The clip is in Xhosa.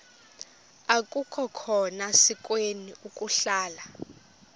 akukhona sikweni ukuhlala